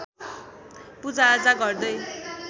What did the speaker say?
पूजाआजा गर्दै